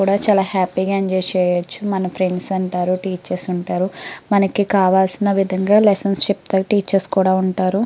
కూడా చాలా హ్యాపీ గా ఎంజాయ్ చెయ్యచ్చు. మన ఫ్రెండ్స్ ఉంటారు. టీచర్స్ ఉంటారు. మనకి కావాల్సిన విధంగా లెసన్స్ చెప్పే టీచర్స్ కూడా ఉంటారు.